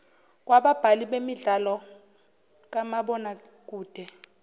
kwababhali bemidlalo kamabonakede